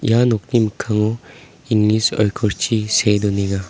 ia nokni mikkango english oikorchi see donenga.